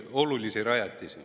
Nii.